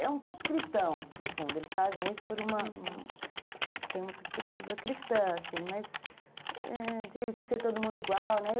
É um pouco cristão, no fundo, eles fazem isso por uma... tem uma perspectiva cristã, assim, mas de ser todo mundo igual, né?